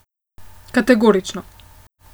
Kategorično.